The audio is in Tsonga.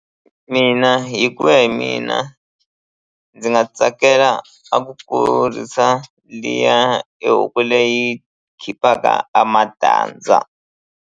Mina hi ku ya hi mina ndzi nga tsakela a ku kurisa liya e huku leyi khiphaka a matandza.